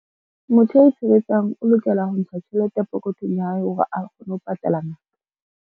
Motho ya itshebetsang o lokela ho ntsha tjhelete pokothong ya hae hore a kgone ho patala ngaka.